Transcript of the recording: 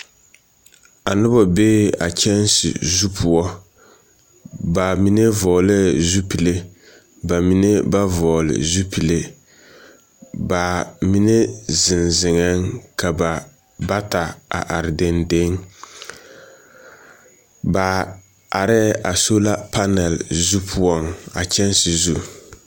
A noba bee a kyԑnse zu poͻ. Ba mine vͻgelԑԑ zupile ba mine ba vͻgele zupile. Ba mine zeŋ zeŋԑԑ, ka ba bata are dendeŋ, ba arԑԑ a sola panԑl zu poͻŋ a kyԑnse zu.